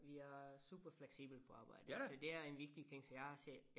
Vi er super fleksible på arbejdet så det er en vigtig ting så jeg har selv